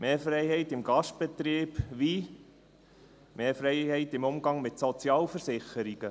mehr Freiheit im Gastbetrieb wie mehr Freiheit im Umgang mit Sozialversicherungen.